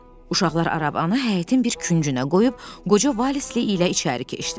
Uşaqlar arabanı həyətin bir küncünə qoyub qoca Valisli ilə içəri keçdilər.